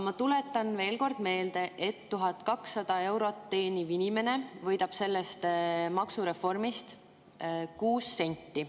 Ma tuletan veel kord meelde, et 1200 eurot teeniv inimene võidab sellest maksureformist 6 senti.